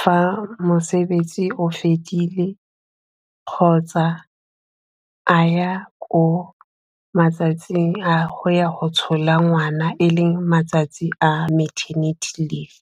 fa mosebetsi o fedile kgotsa a ya ko matsatsing a go ya go tshola ngwana e leng matsatsi a maternity leave.